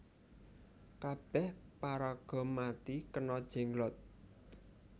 Kabeh paraga mati kena Jenglot